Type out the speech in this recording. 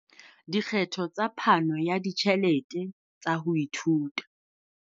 Dikgetho tsa phano ya ditjhelete tsa ho ithuta.